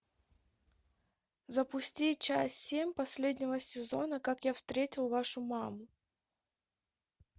запусти часть семь последнего сезона как я встретил вашу маму